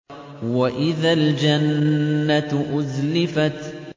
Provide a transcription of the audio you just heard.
وَإِذَا الْجَنَّةُ أُزْلِفَتْ